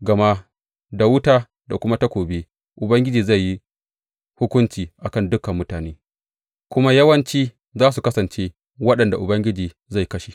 Gama da wuta da kuma takobi Ubangiji zai yi hukunci a kan dukan mutane, kuma yawanci za su kasance waɗanda Ubangiji zai kashe.